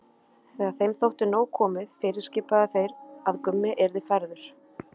Þegar þeim þótti nóg komið fyrirskipuðu þeir að Gummi yrði færður.